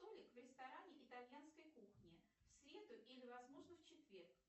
столик в ресторане итальянской кухни в среду или возможно в четверг